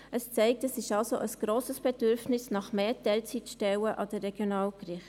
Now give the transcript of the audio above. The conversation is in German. Dies zeigt: Es besteht ein grosses Bedürfnis nach mehr Teilzeitstellen an den Regionalgerichten.